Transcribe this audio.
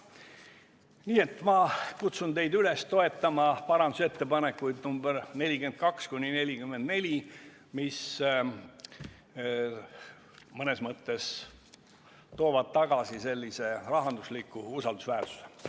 Nii et ma kutsun teid üles toetama parandusettepanekuid nr 42–44, mis mõnes mõttes toovad tagasi sellise rahandusliku usaldusväärsuse.